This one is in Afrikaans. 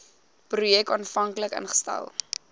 projek aanvanklik ingestel